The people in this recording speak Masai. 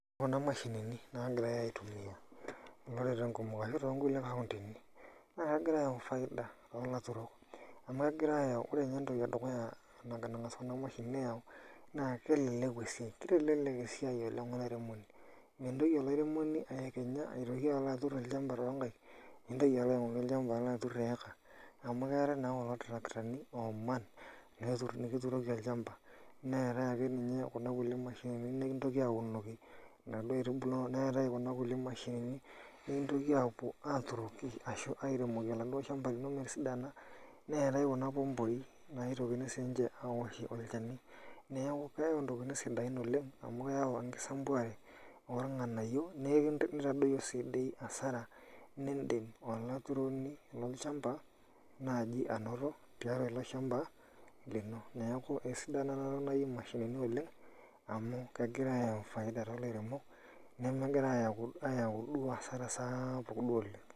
Ore kuna mashinini naagirai aitumia iloreren kumok ashu too nkulie kauntini, naa kegira ayau faida too laturok amu ore ninye entoki e dukuya nang`as kuna mashinini aayau naa kelelku esiai. Keitelelek esiai oleng olairemoni, mintoki olairemoni ayekenya aitoki alo aturr olchamba too nkaik nintoki alo aing`ori olchamba aturr too nkaik, nintoki alo aing`oru olchamba aturr eika amu keetae naa kulo tarakitani ooman nekituroki olchamba, neetae kuna kulie mashinini nintoki aapuo aatunoki inaduo aitubu ashu airemoki oladuo shamba lino metisidana. Neetae sii ninche kuna pomboi naitokini sii ninche aawoshie olchani. Niaku keyau ntokitin sidan oleng amu keyau enkisampuare oo ilng`anayio neitadoyio sii dii hasara nidim olaturoni lolchamba naaji anoto tiatua ele shamba lino. Neeku esidai naaji ena toki naji mashinini amu kegira aayawu duo hasara sapuk duo oleng.